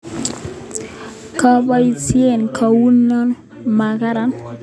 Keboisie kouni makaran